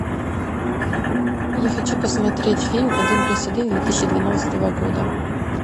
я хочу посмотреть фильм один плюс один две тысячи двенадцатого года